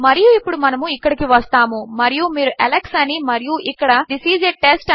మరియు ఇప్పుడు మనము ఇక్కడకు వస్తాము మరియు మీరు అలెక్స్ అని మరియు ఇక్కడ థిస్ ఐఎస్ a టెస్ట్